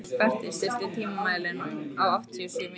Berti, stilltu tímamælinn á áttatíu og sjö mínútur.